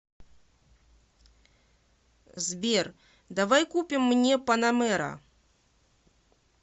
сбер давай купим мне панамера